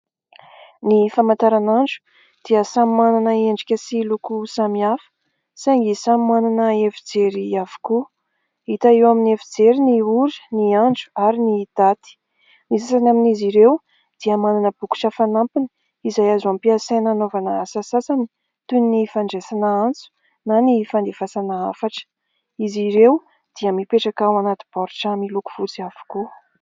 Ny famataranandro dia samy manana endrika sy loko samihafa saingy samy manana efijery avokoa. Hita eo amin'ny efijery ny ora, ny andro ary ny daty. Ny sasany amin'izy ireo dia manana bokotra fanampiny izay azo ampiasaina hanaovana asa sasany, toy ny fandraisana antso na ny fandefasana hafatra.